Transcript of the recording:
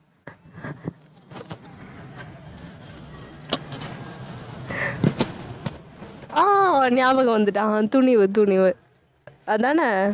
அஹ் ஞாபகம் வந்துட்டு அஹ் துணிவு, துணிவு. அதானே